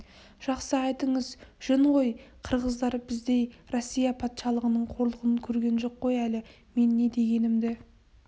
жақсы айтыңыз жөн ғой қырғыздар біздей россия патшалығының қорлығын көрген жоқ қой әлі мен не дегенімді